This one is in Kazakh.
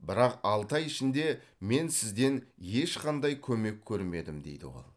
бірақ алты ай ішінде мен сізден ешқандай көмек көрмедім дейді ол